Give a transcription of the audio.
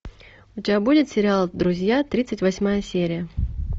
у тебя будет сериал друзья тридцать восьмая серия